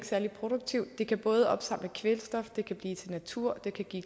særlig produktiv den kan både opsamle kvælstof den kan blive til natur den kan give